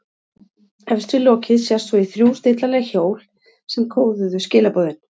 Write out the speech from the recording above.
Efst við lokið sést svo í þrjú stillanleg hjól sem kóðuðu skilaboðin.